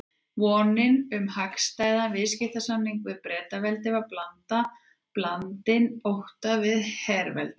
Vonin um hagstæðan viðskiptasamning við Bretaveldi var blandin ótta við herveldi